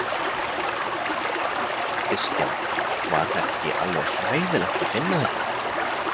Kristján: Var þetta ekki alveg hræðilegt að finna þetta?